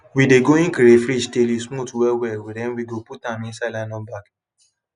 we de going crayfish till e smooth well well then we go put am inside nylon bags